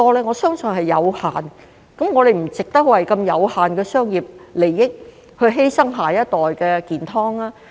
我相信這是有限的，我們不值得為如此有限的商業利益而犧牲下一代的健康。